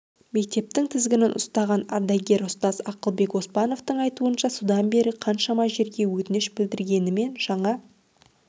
мектептің тізгінін ұстаған ардагер ұстаз ақылбек оспановтың айтуынша содан бері қаншама жерге өтініш білдіргенімен жаңа